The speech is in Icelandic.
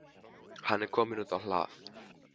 Hann er kominn út á hlað.